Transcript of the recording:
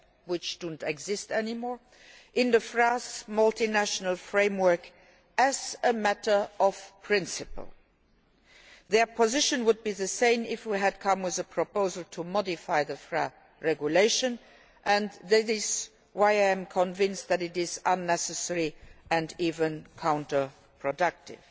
which no longer exist, in the FRA's Multiannual Framework as a matter of principle. Their position would be the same if we had put forward a proposal to modify the FRA regulation, and that is why I am convinced that it is unnecessary and even counterproductive.